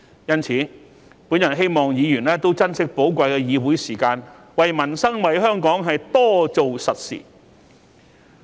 因此，我希望議員珍惜寶貴的議會時間，為民生、為香港多做實事。